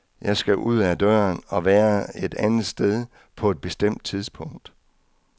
Jeg skal ikke ud af døren og være et andet sted på et bestemt tidspunkt.